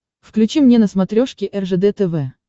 включи мне на смотрешке ржд тв